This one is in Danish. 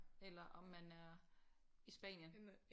Eller om man er i Spanien